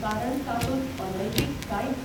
कारण तातूंत अनैतीक कांयच